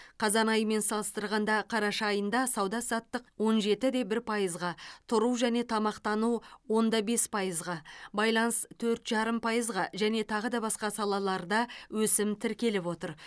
қазан айымен салыстырғанда қараша айында сауда саттық он жеті де бір пайызға тұру және тамақтану он да бес пайызға байланыс төрт жарым пайызға және тағы да басқа салаларда өсім тіркеліп отыр